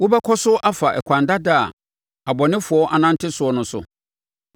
Wobɛkɔ so afa ɛkwan dada a abɔnefoɔ anante soɔ no so?